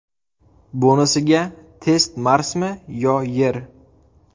Bonusiga test Marsmi yo Yer?